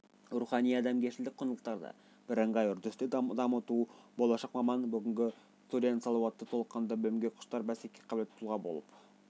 рухани-адамгершілік құндылықтарды бірыңғай үрдісте дамыту болашақ маман бүгінгі студент сауатты толыққанды білімге құштар бәсекеге қабілетті тұлға болып